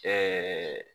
Ɛɛ